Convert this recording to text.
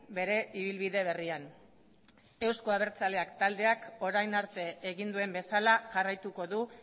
bere ibilbide berrian euzko abertzaleak taldeak orain arte egin duen bezala jarraituko du